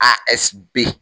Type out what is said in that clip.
A ɛsipe